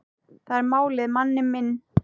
Það er málið, manni minn.